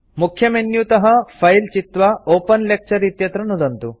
मुख्यमेन्युतः file चित्वा open lecture इत्यत्र नुदन्तु